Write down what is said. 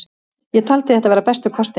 Ég taldi þetta vera bestu kostina.